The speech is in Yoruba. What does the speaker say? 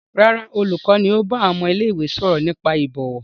Rárá, olùkọ́ ni ó bá àwọn ọmọ ilé-ìwé sọ̀rọ̀ nípa ìbọ̀wọ̀.